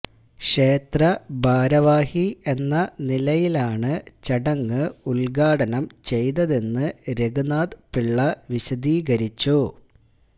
ക്ഷേത്ര ഭാരവാഹി എന്ന നിലയിലാണ് ചടങ്ങ് ഉദ്ഘാടനം ചെയ്തതെന്ന് രഘുനാഥ് പിള്ള വിശദീകരിച്ചു